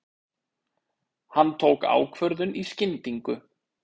Hann tók ákvörðun í skyndingu.